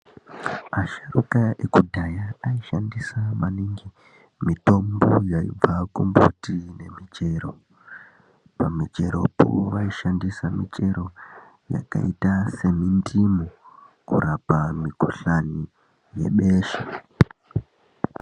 Asharuka ekudhaya aishandisa maningi mitombo yaibva kumbiti nemichero pamucheropo vaishandisa muchero yakaita semindimu kurapa mukuhlani yenesha.